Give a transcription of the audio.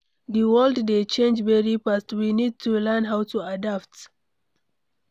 Di world dey change very fast, we need to learn how to adapt